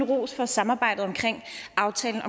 rose for samarbejdet omkring aftalen